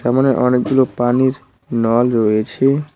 সামনে অনেকগুলো পানির নল রয়েছে।